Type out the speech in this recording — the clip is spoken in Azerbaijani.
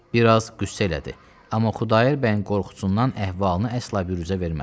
Biraz qüssə elədi, amma Xudayar bəyin qorxusundan əhvalını əsla biruzə vermədi.